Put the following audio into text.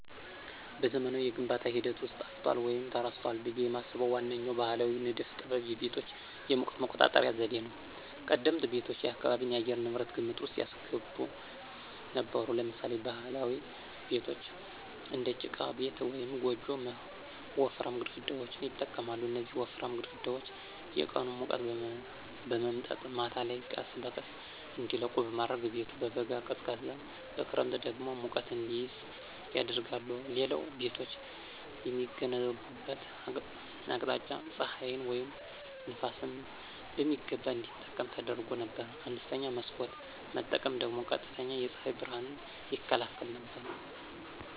በዘመናዊው የግንባታ ሂደት ውስጥ ጠፍቷል ወይም ተረስቷል ብዬ የማስበው ዋነኛው ባሕላዊ ንድፍ ጥበብ የቤቶች የሙቀት መቆጣጠሪያ ዘዴ ነው። ቀደምት ቤቶች የአካባቢን የአየር ንብረት ግምት ውስጥ ያስገቡ ነበሩ። ለምሳሌ ባህላዊ ቤቶች (እንደ ጭቃ ቤት ወይም ጎጆ) ወፍራም ግድግዳዎችን ይጠቀማሉ። እነዚህ ወፍራም ግድግዳዎች የቀኑን ሙቀት በመምጠጥ ማታ ላይ ቀስ በቀስ እንዲለቁ በማድረግ ቤቱ በበጋ ቀዝቃዛ በክረምት ደግሞ ሙቀት እንዲይዝ ያደርጋሉ። ሌላው ቤቶች የሚገነቡበት አቅጣጫ ፀሐይን ወይም ነፋስን በሚገባ እንዲጠቀም ተደርጎ ነበር። አነስተኛ መስኮት መጠቀም ደግሞ ቀጥተኛ የፀሐይ ብርሃንን ይከላከል ነበር።